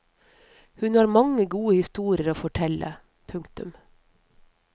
Hun har mange gode historier å fortelle. punktum